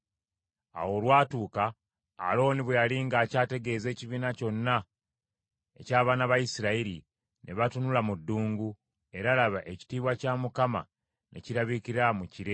Awo olwatuuka, Alooni bwe yali ng’akyategeeza ekibiina kyonna eky’abaana ba Isirayiri, ne batunula mu ddungu; era, laba, ekitiibwa kya Mukama ne kirabikira mu kire.